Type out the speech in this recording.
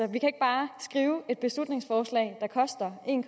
vi kan ikke bare skrive et beslutningsforslag der koster en